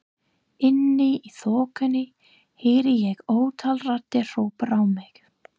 Inni í þokunni heyri ég ótal raddir hrópa á mig.